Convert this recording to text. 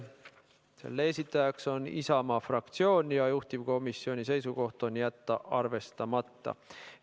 Selle esitaja on Isamaa fraktsioon ja juhtivkomisjoni seisukoht on jätta see arvestamata.